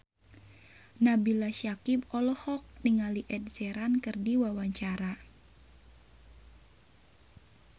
Nabila Syakieb olohok ningali Ed Sheeran keur diwawancara